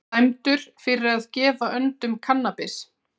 Dæmdur fyrir að gefa öndum kannabis